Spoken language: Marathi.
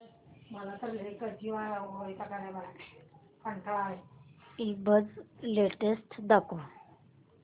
ईबझ लेटेस्ट दाखव